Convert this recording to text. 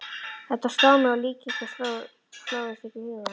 Þetta sló mig, og líkingar hlóðust upp í huganum.